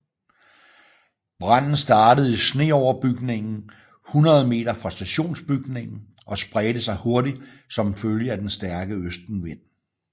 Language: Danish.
Branden startede i sneoverbygningen hundrede meter fra stationsbygningen og spredte sig hurtigt som følge af den stærke østenvind